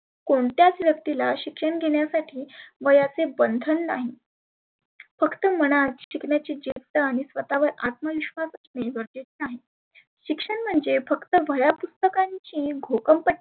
कोणत्याच व्यक्तीला शिक्षण घेण्यासाठी वयाचे बंधन नाही. फक्त मनात शिकण्याची जिद्द आणि स्वतः वर आत्मविश्वास असणे गरजेचे आहे. शिक्षण म्हणजे फक्त वह्या पुस्तकांची घोकम पट्टी